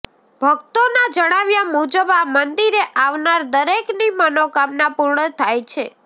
ભક્તોના જણાવ્યા મુજબ આ મંદિરે આવનાર દરેકની મનોકામના પૂર્ણ થાય છે